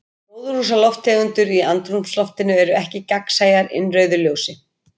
Gróðurhúsalofttegundir í andrúmsloftinu eru ekki gagnsæjar innrauðu ljósi.